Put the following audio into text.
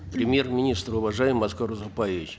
премьер министр уважаемый аскар узакбаевич